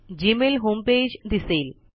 Gmail home page दिसेल